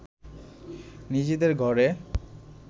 নিজেদের ঘরে